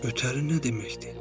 Ötəri nə deməkdir?